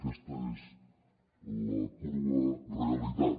aquesta és la crua realitat